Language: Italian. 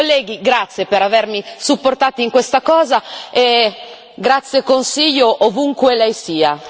Colleghi, grazie per avermi supportato in questa cosa e grazie Consiglio, ovunque lei sia.